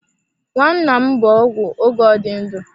Nnanna m bụ ọgwụ oge ọ dị ndụ.